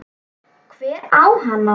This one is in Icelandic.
Hver á hana?